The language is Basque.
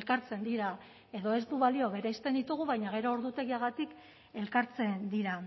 elkartzen dira edo ez du balio bereizten ditugu baina gero ordutegiagatik elkartzen dira